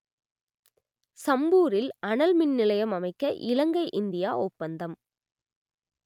சம்பூரில் அனல் மின்நிலையம் அமைக்க இலங்கை இந்தியா ஒப்பந்தம்